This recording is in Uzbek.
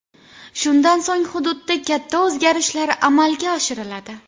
Shundan so‘ng hududda katta o‘zgarishlar amalga oshiriladi.